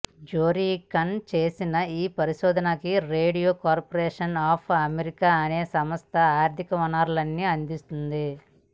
Zworykin చేసిన ఈ పరిశోధనకి రేడియో కార్పొరేషన్ ఆఫ్ అమెరికా అనే సంస్థ ఆర్థిక వనరుల్ని అందించింది